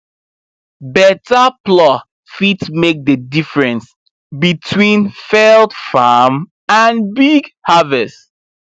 better plow fit make the difference between failed farm and big harvest